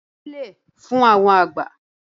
wólẹ̀ fún àwọn àgbà!